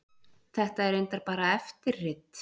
Þetta er reyndar bara eftirrit.